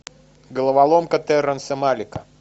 головоломка терренса малика